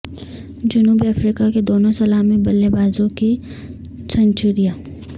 جنوبی افریقہ کے دونوں سلامی بلے بازوں کی سنچریاں